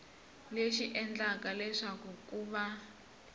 lexi endlaka leswaku ku va